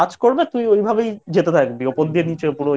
করবে তুই ওইভাবেই যেতে থাকবি উপর দিয়ে